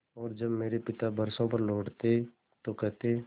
और जब मेरे पिता बरसों पर लौटते तो कहते